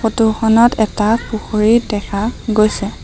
Photo খনত এটা পুখুৰী দেখা গৈছে।